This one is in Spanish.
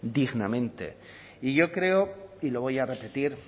dignamente y yo creo y lo voy a repetir